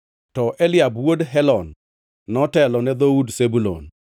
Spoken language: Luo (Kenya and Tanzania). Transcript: to Eliab wuod Helon notelo ne dhood Zebulun.